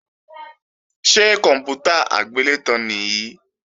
Ṣé kòǹpútà agbélétan nìí?